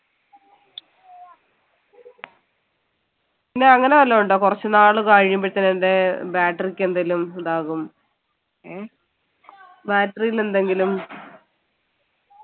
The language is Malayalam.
പിന്നെ അങ്ങനെ വല്ലതും ഉണ്ടോ കുറച്ചുനാൾ കഴിയുമ്പോൾ തന്നെ എന്തേ battery ക്ക് എന്തേലും ഇതാകും ഏഹ് battery ൽ എന്തെങ്കിലും